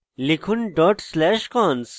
লিখুন dot slash cons